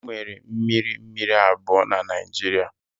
Enwere mmiri mmiri abụọ na Naijiria.